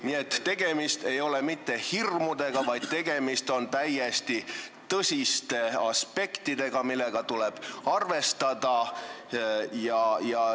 Nii et tegemist ei ole mitte hirmudega, vaid tegemist on täiesti tõsiste aspektidega, millega tuleb arvestada.